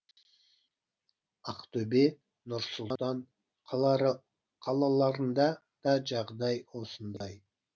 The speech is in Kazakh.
ақтөбе нұр сұлтан қалаларында да жағдай осындай